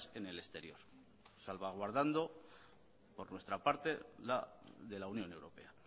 en el exterior salvaguardando por nuestra parte de la unión europea